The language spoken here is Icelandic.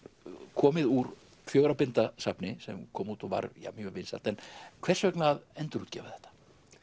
komið úr fjögurra binda safni sem kom út og var mjög vinsælt en hvers vegna að endurútgefa þetta